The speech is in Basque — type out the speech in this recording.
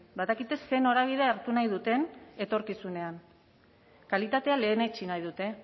badakite zer norabide hartu nahi duten etorkizunean kalitatea lehenetsi nahi dute